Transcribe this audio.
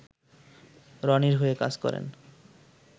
রনির হয়ে কাজ করেন